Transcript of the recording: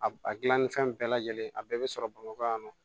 A a dilannifɛn bɛɛ lajɛlen a bɛɛ bɛ sɔrɔ bamakɔ yan nɔ